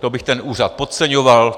To bych ten úřad podceňoval.